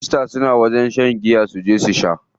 Kirista suna zuwa wajen shan giya su sha.